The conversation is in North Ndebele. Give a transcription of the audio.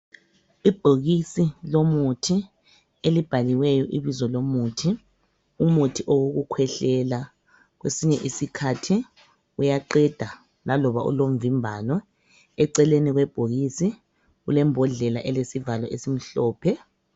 Ibhokisi lomuthi elibhaliweyo Ibizo lomuthi umuthi owokukhwehlela kwesisinye isikhathi uyaqeda laloba ulomvimbano eceleni kwebhokisi kulembodlela elesivalo esimhlophe.